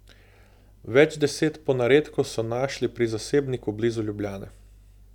Več deset ponaredkov so našli pri zasebniku blizu Ljubljane.